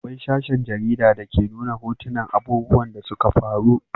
Akwai sashen jarida da ke nuna hotunan abubuwan da suka faru